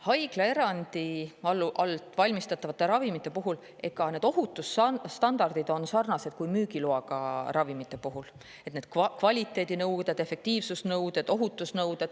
Haiglaerandi all valmistatavate ravimite puhul on ohutusstandardid – kvaliteedinõuded, efektiivsusnõuded, ohutusnõuded – sarnased müügiloaga ravimite puhul.